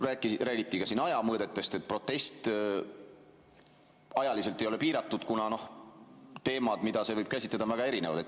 Räägiti ka ajamõõtmetest, et protest ei ole ajaliselt piiratud, kuna teemad, mida see võib käsitleda, on väga erinevad.